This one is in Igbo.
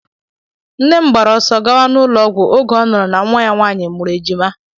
Nne m gbaara ọsọ gawa n'ụlọ ọgwụ oge ọ nụrụ na nwa ya nwaanyị mụrụ ejima.